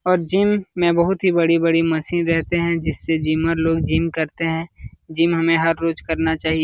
और जिम में बहुत ही बड़ी बड़ी मशीन रहते हैं जिससे जिमर लोग जिम करते हैं। जिम हमें हर रोज करना चाहिऐ।